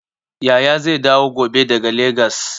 Yaya zai dawo gobe daga Legas.